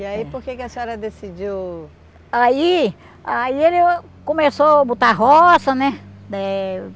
E aí por que que a senhora decidiu... Aí aí ele começou a botar roça, né? Eh